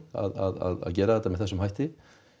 að gera þetta með þessum hætti